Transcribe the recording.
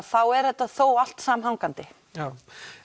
þá er þetta þó allt samhangandi já